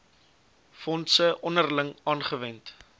fondse onderling aangewend